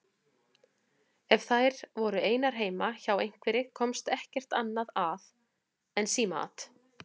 Ef þær voru einar heima hjá einhverri komst ekkert annað að en símaat.